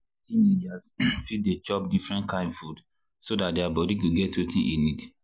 teenagers fit dey chop different kain food so dat their body go get wetin e need.